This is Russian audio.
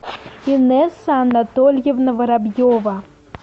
инесса анатольевна воробьева